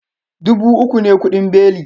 Dubu uku ne kudin beli